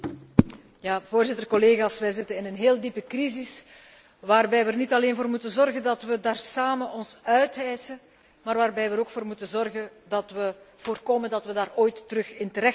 Voorzitter, collega's, wij zitten in een heel diepe crisis waarbij we er niet alleen voor moeten zorgen dat we ons daar samen uithijsen, maar waarbij we er ook voor moeten zorgen dat we voorkomen dat we daar ooit opnieuw in terechtkomen.